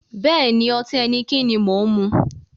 Bẹ́ẹ̀ni, ọtí Heineken ni mo ń mu